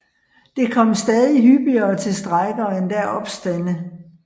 Det kom stadig hyppigere til strejker og endda opstande